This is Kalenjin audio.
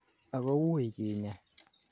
agowuui kinyaa